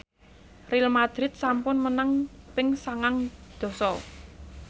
Real madrid sampun menang ping sangang dasa